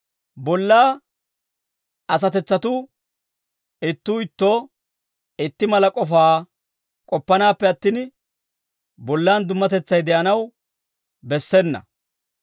Bollaa asatetsatuu ittuu ittoo itti mala k'ofaa k'oppanaappe attin, bollaan dummatetsay de'anaw bessena.